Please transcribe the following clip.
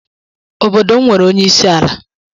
Obodo m nwere onye isi ala.